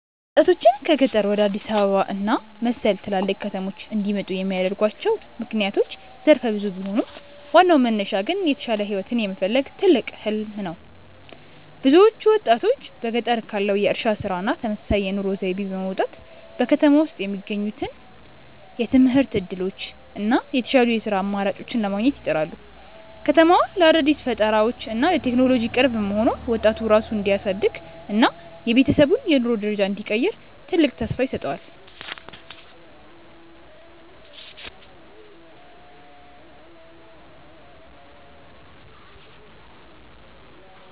ወጣቶችን ከገጠር ወደ አዲስ አበባ እና መሰል ትላልቅ ከተሞች እንዲመጡ የሚያደርጓቸው ምክንያቶች ዘርፈ ብዙ ቢሆኑም፣ ዋናው መነሻ ግን የተሻለ ህይወትን የመፈለግ ትልቅ "ህሊም" ነው። ብዙዎቹ ወጣቶች በገጠር ካለው የእርሻ ስራ እና ተመሳሳይ የኑሮ ዘይቤ በመውጣት፣ በከተማ ውስጥ የሚገኙትን የትምህርት እድሎች እና የተሻሉ የስራ አማራጮችን ለማግኘት ይጥራሉ። ከተማዋ ለአዳዲስ ፈጠራዎች እና ለቴክኖሎጂ ቅርብ መሆኗ፣ ወጣቱ ራሱን እንዲያሳድግ እና የቤተሰቡን የኑሮ ደረጃ እንዲቀይር ትልቅ ተስፋ ይሰጠዋል።